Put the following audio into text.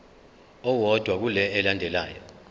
owodwa kule elandelayo